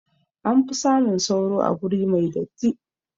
Anfi samun sauro a guri mai datti